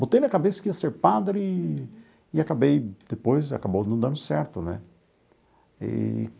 Botei na cabeça que ia ser padre e e acabei depois acabou não dando certo né eee.